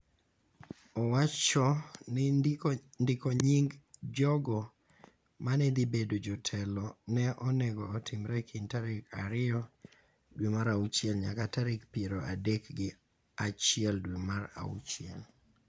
owacho ni ndiko nying� jogo ma ne dhi bedo jotelo ne onego otimre e kind tarik ariyo dwe mar auchiel nyaka tarik piero adek gi achiel dwe mar auchiel.